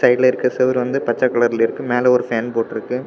சைடுல இருக்குற செவுரு வந்து பச்ச கலர்ல இருக்கு மேல ஒரு ஃபேன் போட்டுருக்கு.